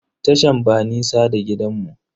Tashan ba nisa da gidanmu.